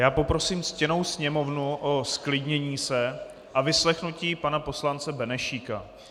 Já poprosím ctěnou Sněmovnu o zklidnění se a vyslechnutí pana poslance Benešíka.